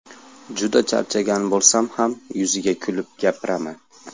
Juda charchagan bo‘lsam ham, yuziga kulib gapiraman.